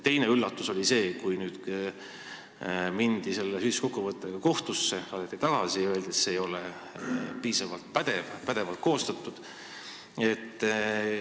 Teine üllatus oli see, et kui mindi selle süüdistuskokkuvõttega kohtusse, siis saadeti see tagasi ja öeldi, et see ei ole piisavalt pädevalt koostatud.